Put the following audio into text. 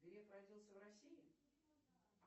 греф родился в россии